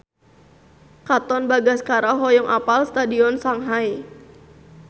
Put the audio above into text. Katon Bagaskara hoyong apal Stadion Shanghai